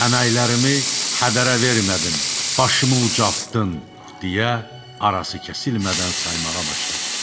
Əməklərimi hədərə vermədin, başımı ucaltdın, deyə arası kəsilmədən saymağa başladı.